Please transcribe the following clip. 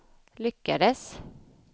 lyckades